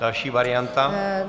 Další varianta.